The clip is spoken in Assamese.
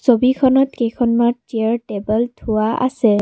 ছবিখনত কেইখনমান চেয়াৰ টেবুল থোৱা আছে।